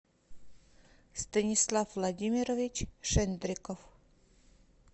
станислав владимирович шендриков